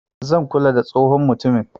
zan kula da tsohon mutumin.